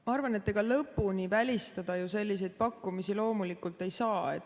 Ma arvan, et ega lõpuni välistada selliseid pakkumisi loomulikult ei saa.